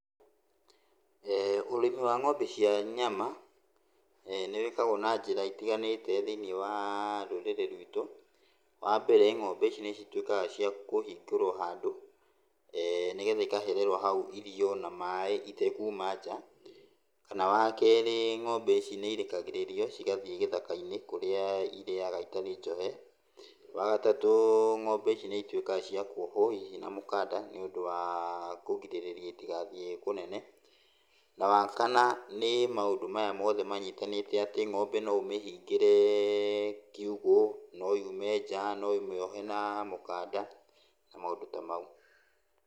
Ũrĩmi wa ng'ombe cia nyama, nĩwĩkagwo na njĩra itiganĩte thĩiniĩ wa rũrĩrĩ rwitũ. Wambere ng'ombe ici nĩcituĩkaga cia kũhingĩrwo handũ, nĩgetha ikahererwo hau irio na maĩ itekuma nja. Kana wakerĩ ngombe ici nĩirekagĩrĩrio cigathiĩ gĩthaka-inĩ kũrĩa irĩaga itarĩ njohe. Wagatatũ ng'ombe ici nĩituĩkaga cia kuohwo hihi na mũkanda nĩũndũ wa kũgirĩrĩria itigathiĩ kũnene. Na wa kana, nĩ maũndũ maya mothe manyitanĩte atĩ ng'ombe no ũmĩhingĩre kiugũ, no yume nja, no ũmĩohe na mũkanda, na maũndũ ta mau.